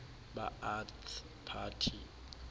ba ath party